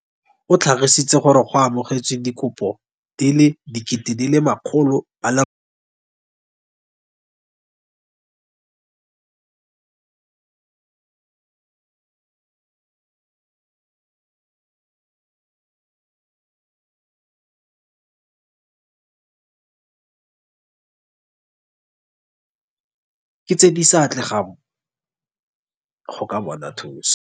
O tlhalositse gore ba amogetse dikopo di le makgolo, ke tse di sa atlegang go ka bona thuso.